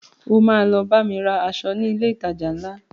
O ma lọ bámi ra aṣọ ní ilé ìtajà ńlá